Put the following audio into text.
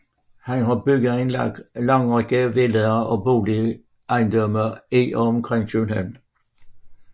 Han har bygget en lang række villaer og boligejendomme i og omkring København